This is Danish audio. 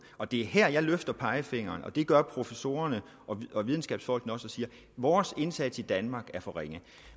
og det er her jeg løfter pegefingeren det gør professorerne og videnskabsfolkene også og siger vores indsats i danmark er for ringe